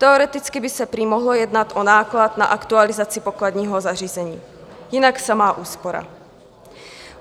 Teoreticky by se prý mohlo jednat o náklad na aktualizaci pokladního zařízení, jinak samá úspora.